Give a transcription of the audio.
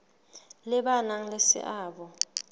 le ba nang le seabo